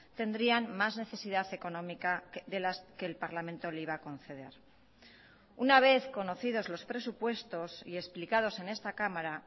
tendrían más necesidad económica de las que el parlamento le iba a conceder una vez conocidos los presupuestos y explicados en esta cámara